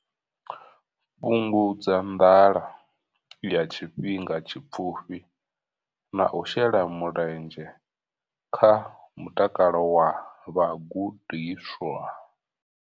Fhungudza nḓala ya tshifhinga tshipfufhi na u shela mulenzhe kha mutakalo wa vhagudiswa.